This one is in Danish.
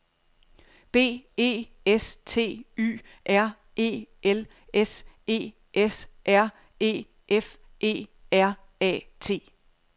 B E S T Y R E L S E S R E F E R A T